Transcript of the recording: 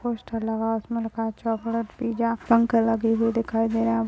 Poster लगा है उसमें लिखा है चॉकलेट पीज़ा पंखे लगे हुए दिखाई दे रहे हैं ।